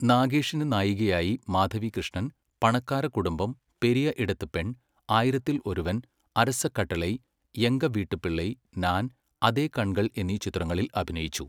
നാഗേഷിൻ്റെ നായികയായി മാധവി കൃഷ്ണൻ, പണക്കാര കുടുംബം, പെരിയ ഇടത്ത് പെൺ, ആയിരത്തിൽ ഒരുവൻ, അരസ കട്ടളൈ, എങ്ക വീട്ടുപിള്ളൈ, നാൻ, അതേ കൺകൾ എന്നീ ചിത്രങ്ങളിൽ അഭിനയിച്ചു.